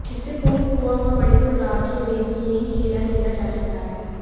इससे पूर्व गोवा व मणिपुर राज्यों में भी यही खेल खेला जा चुका है